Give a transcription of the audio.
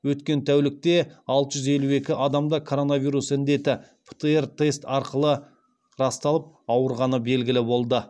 өткен тәулікте алты жүз елу екі адамда коронавирус індеті птр тест арқылы расталып ауырғаны белгілі болды